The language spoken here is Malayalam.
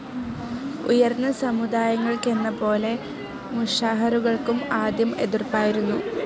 ഉയർന്ന സമുദായങ്ങൾക്കെന്നപോലെ, മൂഷാഹറുകൾക്കും ആദ്യം എതിർപ്പായിരുന്നു.